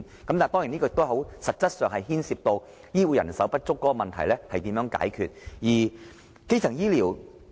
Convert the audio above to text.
當然，在實質上，這亦牽涉到醫護人手不足的問題，這也是需要解決的。